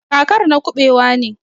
kakar na kubewa ne.